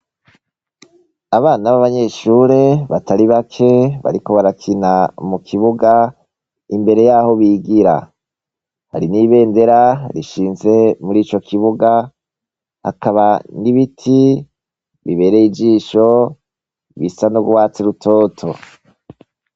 Abana b'abanyeshure batari bake bariko barakina mu kibuga. Imbere y'aho bigira. Hari n'ibendera rishinze muri ico kibuga . Hakaba n'ibiti bibereye ijisho bisa n'urwatsi rutoto.